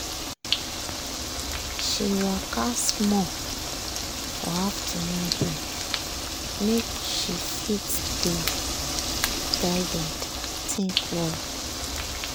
she waka small for afternoon break make she fit dey guided think well.